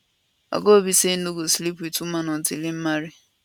oga obi say im no go sleep wit woman until im marry